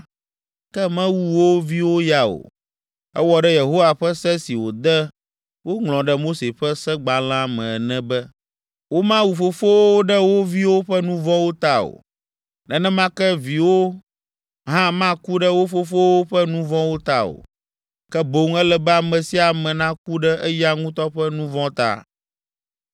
ke mewu wo viwo ya o. Ewɔ ɖe Yehowa ƒe se si wòde woŋlɔ ɖe Mose ƒe segbalẽa me ene be, “Womawu fofowo ɖe wo viwo ƒe nu vɔ̃wo ta o, nenema ke viwo hã maku ɖe wo fofowo ƒe nu vɔ̃wo ta o, ke boŋ ele be ame sia ame naku ɖe eya ŋutɔ ƒe nu vɔ̃ ta.”